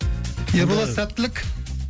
ерболат сәттілік